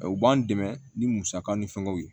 U b'an dɛmɛ ni musaka ni fɛngɛw ye